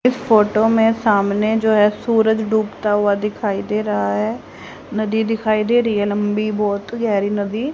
इस फोटो में सामने जो है सूरज डूबता हुआ दिखाई दे रहा है नदी दिखाई दे रही है लंबी बहुत गहरी नदी--